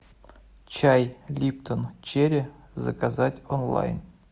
чай липтон черри заказать онлайн